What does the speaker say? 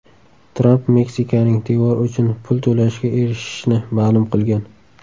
Tramp Meksikaning devor uchun pul to‘lashiga erishishini ma’lum qilgan.